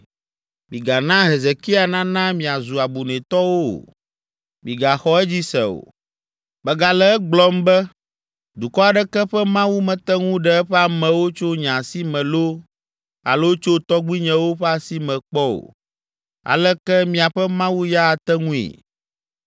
Migana Hezekia nana miazu abunɛtɔwo o! Migaxɔ edzi se o! Megale egblɔm be, dukɔ aɖeke ƒe mawu mete ŋu ɖe eƒe amewo tso nye asi me loo alo tso tɔgbuinyewo ƒe asi me kpɔ o. Aleke miaƒe mawu ya ate ŋui?”